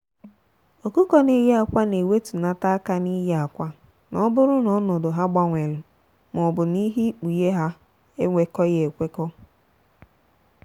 ọkụkọ n'eyi akwa na ewetunata aka n'ịye akwa n'oburu na ọnọdụ ha gbanwelu maọbu na ihe ikpughe ha ekwekọghi ekwekọ.